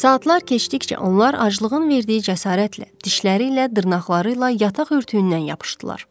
Saatlar keçdikcə onlar aclığın verdiyi cəsarətlə dişləri ilə, dırnaqları ilə yataq örtüyündən yapışdılar.